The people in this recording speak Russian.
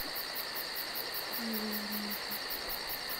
илью олейника